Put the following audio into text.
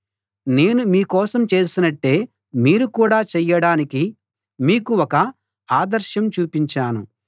నేను మీకోసం చేసినట్టే మీరు కూడా చెయ్యడానికి మీకు ఒక ఆదర్శం చూపించాను